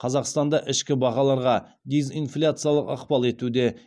қазақстанда ішкі бағаларға дезинфляциялық ықпал етуде